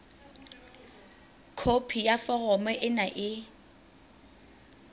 khopi ya foromo ena e